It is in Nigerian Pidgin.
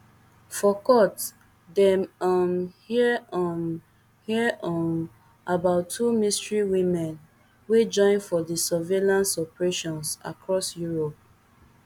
for court dem um hear um hear um about two mystery women wey join for di surveillance operations across europe